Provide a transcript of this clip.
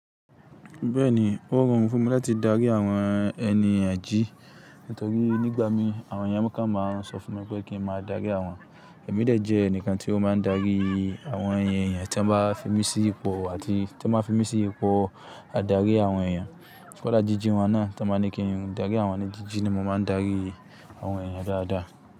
Bẹ́ẹ̀ni, ó rọrùn fún mi láti darí àwọn ẹniyan, nítorí nígbà mí àwọn èèyàn kan máa ń sọ fún mi wípé kí n máa darí àwọn ẹ̀mí dejẹ́ ẹnìkan tí ó máa ń darí àwọn èèyàn tí wọ́n bá fi mí sí ipò àti tí wọ́n bá fi mí sí ipò adarí àwọn èèyàn. Ṣó dá jíjí wọn náà to wọ́n máa ń ní kí n darí àwọn ènìyàn jíjí ni mo máa ń darí àwọn èèyàn dáadáa.